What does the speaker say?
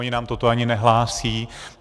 Oni nám toto ani nehlásí.